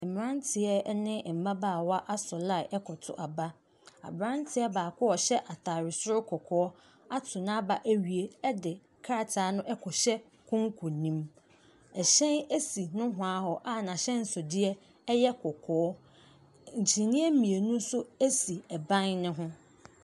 Mmeranteɛ ne mmabaawa asɔ line rekɔto aba. Aberanteɛ baako a ɔhyɛ atade soro kɔkɔɔ ato n'aba awie de krataa no rekɔhyɛ konko no mu. Ɛhyɛn si nohoa hɔ a n'ahyɛnsodeɛ yɛ kɔkɔɔ. Kyiniiɛ mmienu nso si ban no ho.